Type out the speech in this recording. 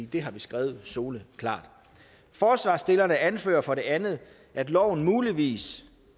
det har vi skrevet soleklart forslagsstillerne anfører for det andet at loven muligvis